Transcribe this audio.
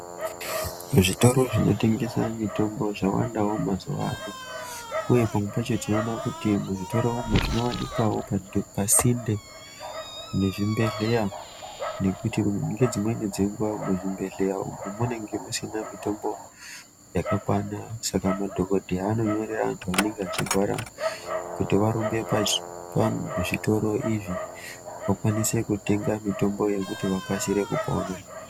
Zvitoro zvinotengesa mitombo zvawandawo mazuwa ano. Uye pamwe pacho tinoona kuti muzvitoro umu zvinowanikwawo pasinde nezvibhedhleya, nekuti ngedzimweni dzenguwa muzvibhedhleya umu munenge musina mitombo yakakwana. Saka madhokodheya anonyorera antu anenge achirwara kuti varumbe pazvitoro izvi vakwanise kutenga mitomboyo kuti vakasire kupona.